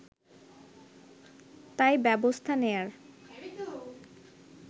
তাই ব্যবস্থা নেয়ার